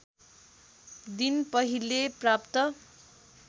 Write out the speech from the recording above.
दिन पहिले प्राप्त